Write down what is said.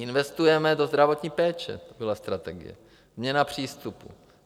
Investujeme do zdravotní péče, to byla strategie, změna přístupu.